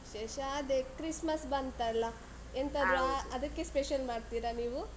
ವಿಶೇಷ ಅದೆ, Christmas ಬಂತಲ್ಲ. ಆ ಅದಕ್ಕೆ special ಮಾಡ್ತೀರಾ ನೀವು?